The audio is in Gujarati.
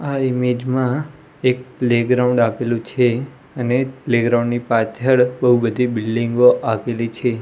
આ ઇમેજ મા એક પ્લેગ્રાઉન્ડ આપેલુ છે અને પ્લેગ્રાઉન્ડ ની પાછળ બો બધી બિલ્ડિંગો આવેલી છે.